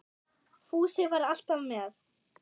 Fúsi var alltaf með